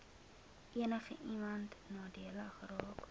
enigiemand nadelig geraak